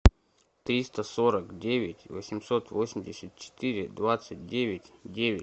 триста сорок девять восемьсот восемьдесят четыре двадцать девять девять